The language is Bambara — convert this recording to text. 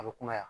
A bɛ kunbaya